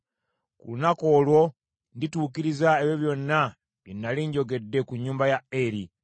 Ku lunaku olwo ndituukiriza ebyo byonna bye nnali njogedde ku nnyumba ya Eri.